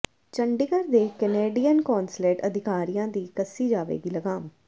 ਚੰਡੀਗੜ੍ਹ ਦੇ Canadian consulate ਅਧਿਕਾਰੀਆਂ ਦੀ ਕੱਸੀ ਜਾਵੇਗੀ ਲਗਾਮ